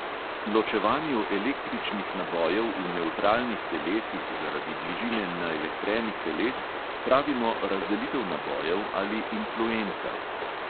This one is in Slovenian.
Ločevanju električnih nabojev v nevtralnih telesih zaradi bližine naelektrenih teles pravimo razdelitev nabojev ali influenca.